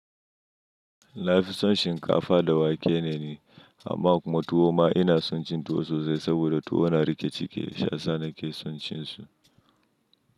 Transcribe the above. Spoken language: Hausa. Nafi son shinkafa da wake ne, amma kuma tuwo ma ina son cin tuwo sosai saboda tuwo na riƙe cike sha sanda ke son cin su.